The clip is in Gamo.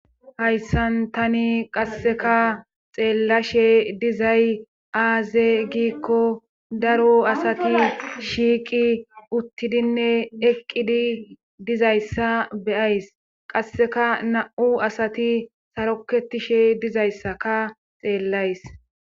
hayssan tani qasseka xeellashe dizay aaze giikko daro asati shiiqi uttidinne eqqidi dizayssa beyays qasseka na7u asati saroketishe dizayssaka xeellays